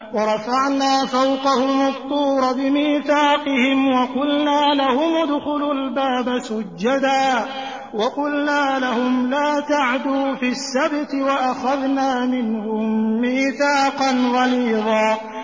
وَرَفَعْنَا فَوْقَهُمُ الطُّورَ بِمِيثَاقِهِمْ وَقُلْنَا لَهُمُ ادْخُلُوا الْبَابَ سُجَّدًا وَقُلْنَا لَهُمْ لَا تَعْدُوا فِي السَّبْتِ وَأَخَذْنَا مِنْهُم مِّيثَاقًا غَلِيظًا